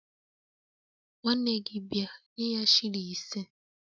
Nwanne gi bia, nye ya shilling ise